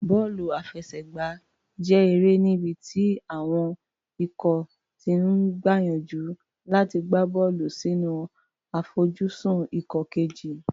Bọ́ọ̀lù àfẹsẹ̀gbá jẹ́ eré níbi tí àwọn ikọ̀ ti ń gbìyànjú láti gbá bọ́ọ̀lù sínú àfojúsùn ikọ̀ kejì.